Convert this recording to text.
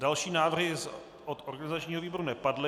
Další návrhy od organizačního výboru nepadly.